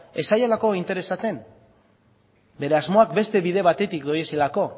ez zaiolako interesatzen bere asmoak beste bide batetik doazelako